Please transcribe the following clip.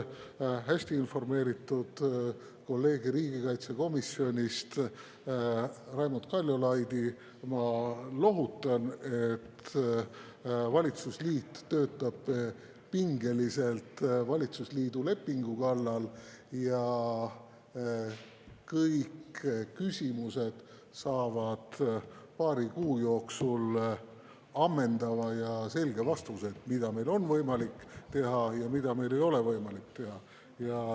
Hästi informeeritud kolleegi riigikaitsekomisjonist, Raimond Kaljulaidi, ma lohutan, et valitsusliit töötab pingeliselt valitsusliidu lepingu kallal ja kõik küsimused saavad paari kuu jooksul ammendava ja selge vastuse, mida meil on võimalik teha ja mida meil ei ole võimalik teha.